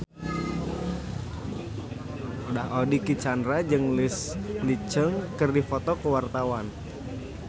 Dicky Chandra jeung Leslie Cheung keur dipoto ku wartawan